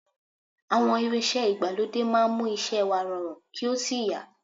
Àwọn irinṣẹ́ ìgbàlódé máa ń mú iṣẹ́ wa rọrùn kí ò sí yá